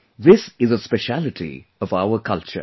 This is a speciality of our culture